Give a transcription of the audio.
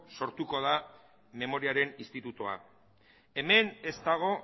sortuko da memoriaren institutoa hemen ez dago